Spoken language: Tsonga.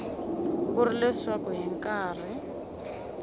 ku ri leswaku hi nkarhi